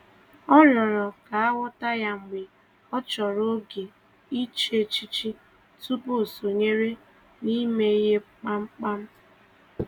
Ọ rịọ̀rò ka a ghọta ya mgbe ọ chọrọ oge iche echiche tupu o sonyere n’ime ihe kpamkpam.